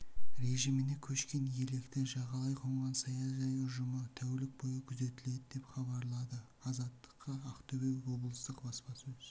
режиміне көшкен електі жағалай қонған саяжай ұжымы тәулік бойы күзетіледі-деп хабарлады азаттыққа ақтөбе облыстық баспасөз